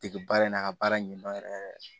Dege baara in na a ka baara ɲɛdɔn yɛrɛ yɛrɛ